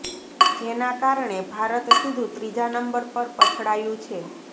જેના કારણે ભારત સીધું ત્રીજા નંબર પર પછડાયું છે